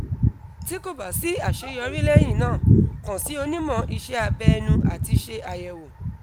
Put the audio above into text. ti ko ba si aseyori lehina kan si onimo ise abe enu ati se ayewo